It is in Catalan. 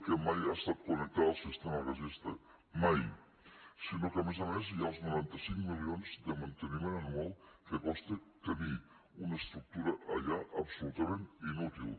que mai ha estat connectada al sistema gasista mai sinó que a més a més hi ha els noranta cinc milions de manteniment anual que costa tenir una estructura allà absolutament inútil